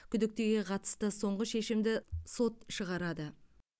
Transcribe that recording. күдіктіге қатысты соңғы шешімді сот шығарады